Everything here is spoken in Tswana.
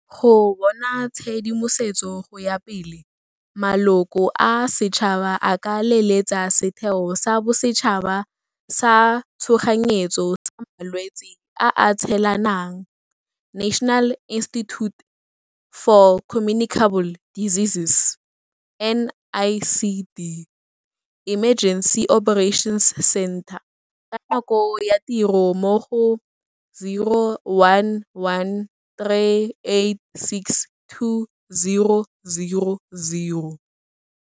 Go bona tshedimosetso go ya pele, maloko a setšhaba a ka leletsa Setheo sa Bosetšhaba sa tshoganyetso sa Malwetse a a Tshelanang National Institute For Communicable Diseases NICD Emergency Operations Centre ka nako ya tiro mo go 011 386 2000.